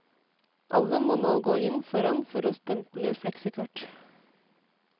Alle må nå gå inn foran for å stemple flexikort.